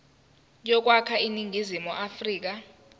yokwakha iningizimu afrika